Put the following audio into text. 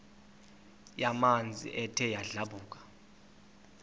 yamanzi ethe yadlabhuka